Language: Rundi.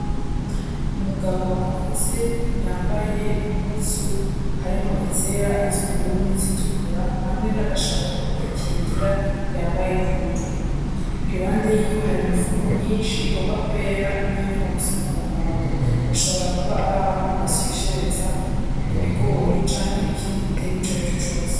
Umugabo akuze yambaye impuzu harimwo izera, izubururu, n'izitukura, hamwe n'agashapo ko kwikingira yambaye ku mutwe, iruhande yiwe hari imifuko myinshi igomba kwera n'iyigomba gusa n'umuhondo, hashobora kuba araho basyeshereza ibigori canke ikindi gitegwa icari co cose.